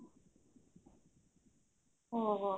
ଓହୋ